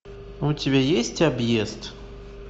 у тебя есть объезд